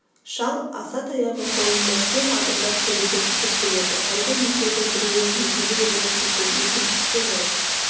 шал асатаяғы қолында кең адымдап төбеден түсіп келеді әлгі екеудің біреуі егделеу орыс екен екіншісі жас